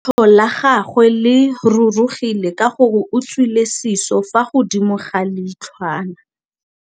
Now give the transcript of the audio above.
Leitlhô la gagwe le rurugile ka gore o tswile sisô fa godimo ga leitlhwana.